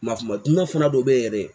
Mafu ma duna fana dɔ be yen yɛrɛ